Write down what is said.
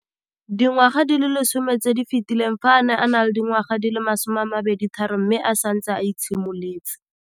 Dingwaga di le 10 tse di fetileng, fa a ne a le dingwaga di le 23 mme a setse a itshimoletse.